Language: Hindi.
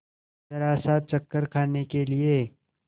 जरासा चक्कर खाने के लिए